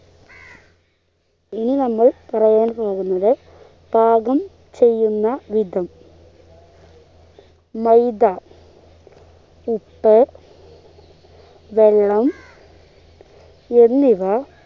ഇനി നമ്മൾ പറയാൻ പോകുന്നത് പാകം ചെയ്യുന്ന വിധം മൈദ ഉപ്പ് വെള്ളം എന്നിവ